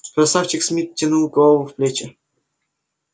красавчик смит втянул голову в плечи